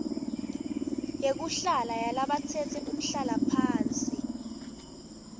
yekuhlala yalabatsetse umhlalaphansi